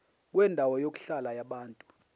kwendawo yokuhlala yabantu